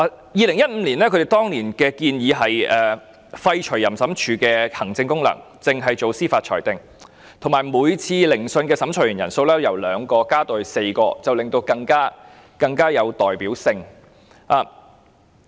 在2015年，政府建議廢除淫審處的行政功能，只負責司法裁定，而每次聆訊的審裁員由2名增至4名，令裁決更有代表性。